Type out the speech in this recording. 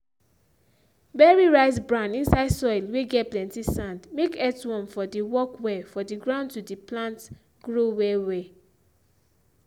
bury rice bran inside soil whey get plenty sand make earthworm for dey work well for the ground to the plant grow well well